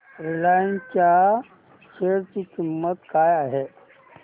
Reliance च्या share ची किंमत काय आहे